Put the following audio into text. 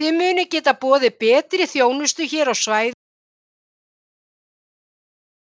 Þið munið geta boðið betri þjónustu hér á svæðinu með þessari sameiningu?